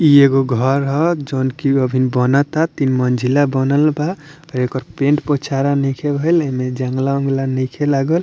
इ एगो घर ह जोवन की इ अभी बनता तीन मंजिला बनल बा आ एकर पेंट पोचाड़ा नईखे भइल एने जंगला-औंगला नइखे लागल।